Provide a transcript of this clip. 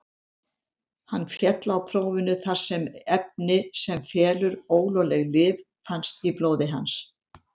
Hann féll á prófinu þar sem efni sem felur ólögleg lyf fannst í blóði hans.